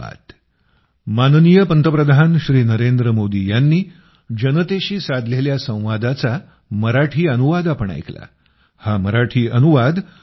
खूप खूप धन्यवाद